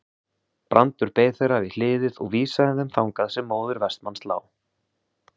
Brandur beið þeirra við hliðið og vísaði þeim þangað sem móðir Vestmanns lá.